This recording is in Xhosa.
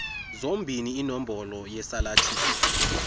zombini inombolo yesalathiso